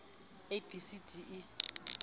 a b c d e